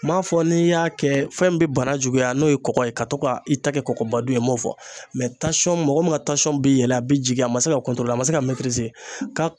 N m'a fɔ n'i y'a kɛ fɛn min be bana juguya n'o ye kɔgɔ ye ka to ka i ta kɛ kɔkɔbadun ye n m'o fɔ mɛ tasɔn mɔgɔ min ka tasɔn bi yɛlɛ a bi jigin a ma se ka kɔntororle a ma se ka metirize k'a